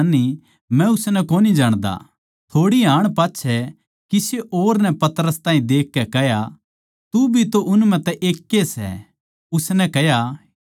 थोड़ी हाण पाच्छै किसे और नै पतरस ताहीं देखकै कह्या तू भी तो उन म्ह तै ए सै उसनै कह्या हे भाई मै वो कोनी